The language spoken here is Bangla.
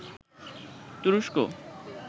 তুরস্ক